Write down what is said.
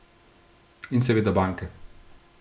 In seveda banke.